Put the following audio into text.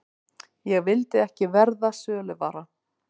Ég vildi ekki verða söluvara.